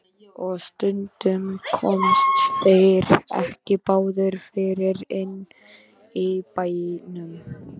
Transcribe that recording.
Og stundum komust þeir ekki báðir fyrir inni í bænum.